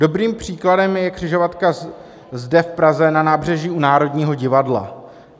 Dobrým příkladem je křižovatka zde v Praze na nábřeží u Národního divadla.